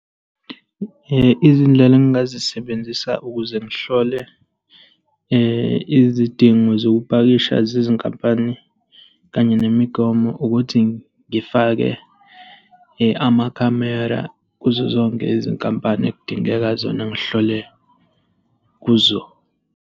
Izindlela engingazisebenzisa ukuze ngihlole izidingo zokupakisha zezinkampani kanye nemigomo ukuthi ngifake amakhamera kuzo zonke izinkampani ekudingeka zona ngihlole kuzo.